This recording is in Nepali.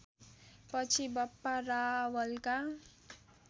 पछि बप्पा रावलका